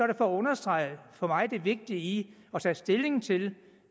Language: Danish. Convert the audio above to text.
det for at understrege det for mig vigtige i at tage stilling til